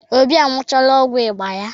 Obi anụchala ọgwụ ịba ya.